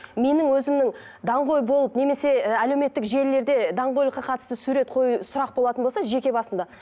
менің өзімнің даңғой болып немесе і әлеуметтік желілерде даңғойлыққа қатысты сурет қою сұрақ болатын болса жеке басымда